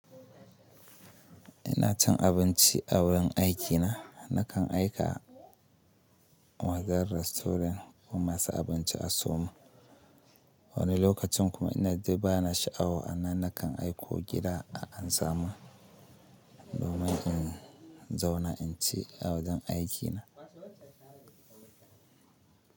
Ina cin abinci a wurin aikina. Nakan aika wajen rastorin masu abinci a sayomun. Wani lokacin kuma ina debana sha'awa a nan nakan aiko gida a ansa. Domin in zauna in ci a wajen aikina.